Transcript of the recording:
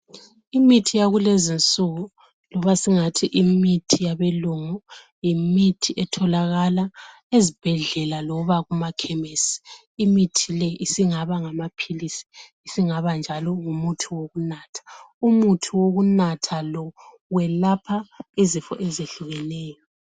Imithi yakulezinsuku loba singathi imithi yabelungu yimithi etholakala ezibhedlela loba kumakhemisi. Imithi le singaba ngamaphilizi singaba njalo ngumuthi wokunatha. Umuthi wekunatha lo welapha izifo ezehlukeneyo.